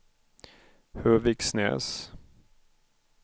Höviksnäs